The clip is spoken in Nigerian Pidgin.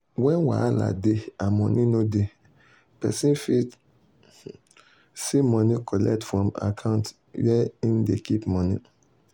when wahala dey and money no dey peson fit see money collect from account where hin dey keep money.